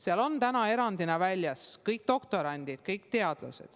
Sealt on täna erandina väljas kõik doktorandid, kõik teadlased.